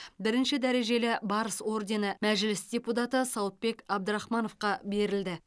бірінші дәрежелі барыс ордені мәжіліс депутаты сауытбек абдрахмановқа берілді